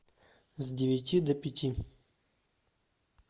с девяти до пяти